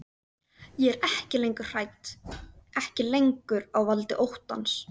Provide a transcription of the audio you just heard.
Ég er ekki lengur hrædd, ekki lengur á valdi óttans.